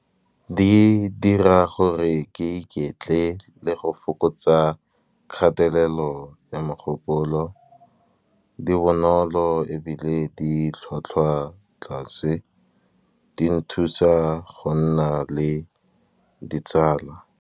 Di dira gore ke iketle le go fokotsa kgatelelo ya mogopolo, di bonolo ebile di tlhwatlhwa tlase, di nthusa go nna le ditsala.